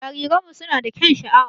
Jariranmu suna da kyaun sha'awa.